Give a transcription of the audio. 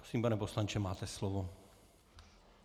Prosím, pane poslanče, máte slovo.